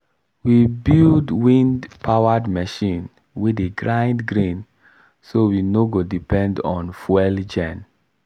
we build wind-powered machine wey dey grind grain so we no go depend on fuel gen